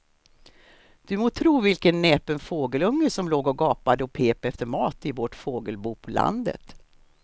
Du må tro vilken näpen fågelunge som låg och gapade och pep efter mat i vårt fågelbo på landet.